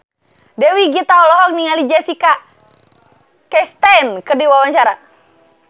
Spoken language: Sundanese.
Dewi Gita olohok ningali Jessica Chastain keur diwawancara